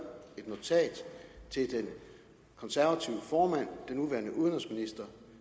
et notat til den konservative formand den nuværende udenrigsminister